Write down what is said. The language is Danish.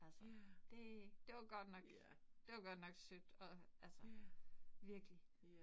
Altså det. Det var godt nok det var godt nok sødt og altså virkelig